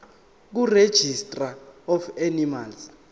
kuregistrar of animals